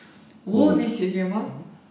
он есеге ма